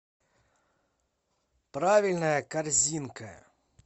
правильная корзинка